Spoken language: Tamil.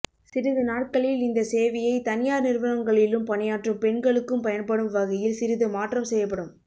சிறிது நாட்களில் இந்த சேவையை தனியார் நிறுவனங்களிலும் பணியாற்றும் பெண்களுக்கும் பயன்படும் வகையில் சிறிது மாற்றம் செய்யப்படும்